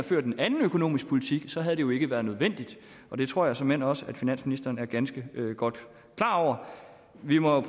ført en anden økonomisk politik havde det jo ikke været nødvendigt og det tror jeg såmænd også finansministeren er ganske godt klar over vi må